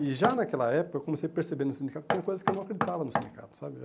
E já naquela época eu comecei a perceber no sindicato que tinha coisas que eu não acreditava no sindicato, sabe?